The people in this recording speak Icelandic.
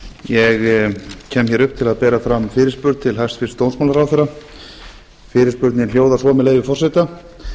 ég kem hér upp til að bera fram fyrirspurn til hæstvirts dómsmálaráðherra fyrirspurnin hljóðar svo með leyfi forseta